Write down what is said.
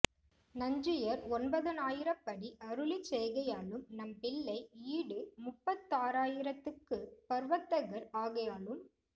நஞ்சீயர் ஒன்பதினாயிரப்படி அருளிச் செய்கையாலும் நம்பிள்ளை ஈடு முப்பத்தாறாயிரத்துக்கு ப்ரவர்த்தகர் ஆகையாலும்